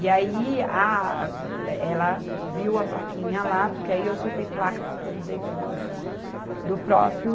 E aí a, eh, ela viu a plaquinha lá, porque aí eu soltei placa por tudo dentro do, do próprio